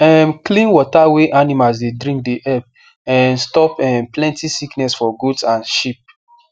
um clean water wey animals dey drink dey help um stop um plenty sickness for goats and sheep